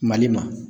Mali ma